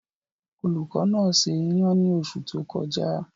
Olùkọ́ náà se iyan ní oṣù tó kọjá.